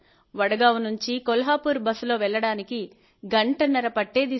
వడ్గావ్ నుంచి కొల్హాపూర్కి బస్లో వెళ్లడానికి గంటన్నర పట్టేది